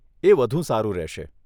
એ વધુ સારું રહેશે.